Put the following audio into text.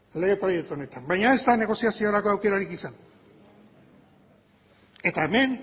lege proiektu honetan baina ez da negoziaziorako aukerarik izan eta hemen